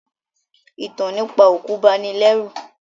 Ìtàn nípa òkú bani lẹ́rù